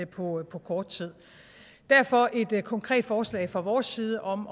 på på kort tid derfor et konkret forslag fra vores side om